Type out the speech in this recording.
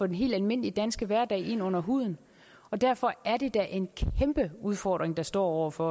den helt almindelige danske hverdag ind under huden derfor er det da en kæmpe udfordring vi står over for